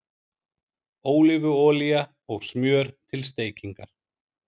Ólífuolía og smjör til steikingar